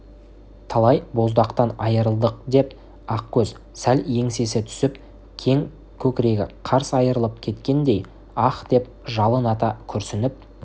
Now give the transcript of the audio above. талай боздақтан айырылдық деп ақкөз сәл еңсесі түсіп кең көкірегі қарс айырылып кеткендей аһ деп жалын ата күрсініп